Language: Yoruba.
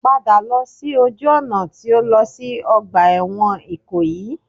Padà lọ sí ojú ọ̀nà tí ó lọ sí ọgbà ẹ̀wọ̀n Ìkòyí